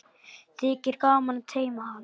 Þykir gaman að teyma hann.